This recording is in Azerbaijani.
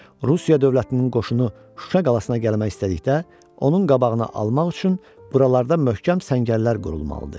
Rusiya dövlətinin qoşunu Şuşaya gəlmək istədikdə, onun qabağına almaq üçün buralarda möhkəm səngərlər qurulmalıdır.